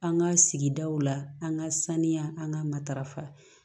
An ka sigidaw la an ka saniya an ka matarafa